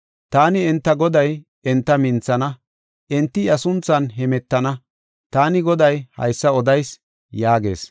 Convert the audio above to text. Taani, enta Goday enta minthana; enti iya sunthan hemetana. taani Goday haysa odayis” yaagees.